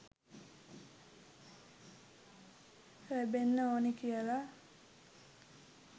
ලැබෙන්න ඕනේ කියලා.